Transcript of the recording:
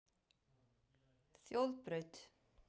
Þjóðbraut